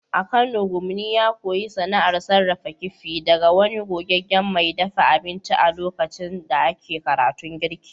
A Kano Kunmi ya koyi sana’ar sarrafa kifi daga wani gogaggen mai dafa abinci a lokacin da ake karatun girki.